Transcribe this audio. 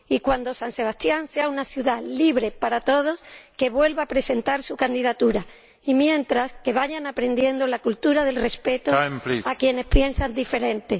Cuando San Sebastián sea una ciudad libre para todos, que vuelva a presentar su candidatura y mientras tanto, que vayan aprendiendo la cultura del respeto a quienes piensan de forma diferente.